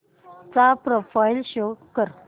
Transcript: चा profile show कर